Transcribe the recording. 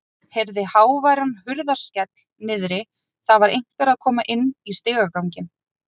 Heyrði háværan hurðarskell niðri, það var einhver að koma inn í stigaganginn.